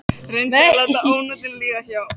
Reyndi að láta ónotin líða hjá.